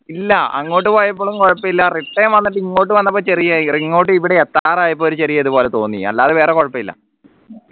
ഇല്ല അങ്ങോട്ട് പോയപ്പോഴും കുഴപ്പല്ല return വന്നിട്ട് ഇങ്ങോട്ട് വന്നപ്പോ ചെറിയ ഇങ്ങോട്ട് ഇവിടെ എത്താറായി ഒരു ചെറിയ അതുപോലെ തോന്നി അല്ലാതെ വേറെ കുഴപ്പല്ല